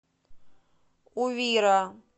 увира